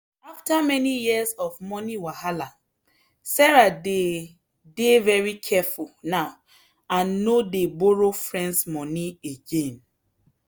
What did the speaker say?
after many years of money wahala sarah dey dey very careful now and no dey borrow friends money again.